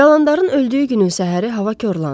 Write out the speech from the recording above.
Dalandarın öldüyü günün səhəri hava korlandı.